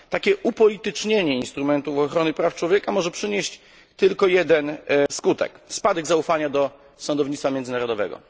Takie upolitycznienie instrumentów ochrony praw człowieka może przynieść tylko jeden skutek spadek zaufania do sądownictwa międzynarodowego.